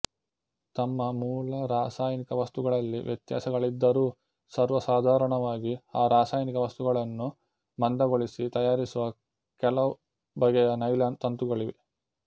ತಮ್ಮ ಮೂಲ ರಾಸಾಯನಿಕ ವಸ್ತುಗಳಲ್ಲಿ ವ್ಯತ್ಯಾಸಗಳಿದ್ದರೂ ಸರ್ವಸಾಧಾರಣವಾಗಿ ಆ ರಾಸಾಯನಿಕ ವಸ್ತುಗಳನ್ನು ಮಂದಗೊಳಿಸಿ ತಯಾರಿಸುವ ಕೆಲವು ಬಗೆಯ ನೈಲಾನ್ ತಂತುಗಳಿವೆ